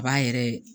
A b'a yɛrɛ